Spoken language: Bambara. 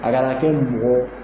A ga na kɛ mɔgɔ